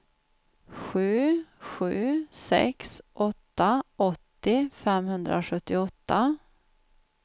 sju sju sex åtta åttio femhundrasjuttioåtta